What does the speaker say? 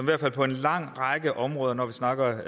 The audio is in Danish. hvert fald på en lang række områder når vi snakker